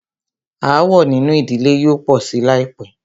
Aàwọ̀ nínú ìdílé yóò pọ̀ sí láìpẹ́.